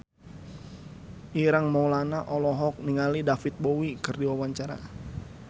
Ireng Maulana olohok ningali David Bowie keur diwawancara